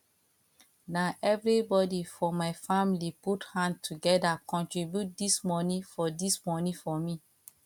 na everybodi for my family put hand togeda contribute dis moni for dis moni for me